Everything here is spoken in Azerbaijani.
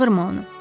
Çağırma onu.